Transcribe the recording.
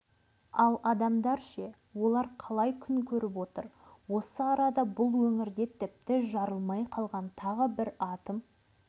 ал адамдар ше олар қалай күн көріп отыр осы арада бұл өңірде тіпті жарылмай қалған тағы бір атом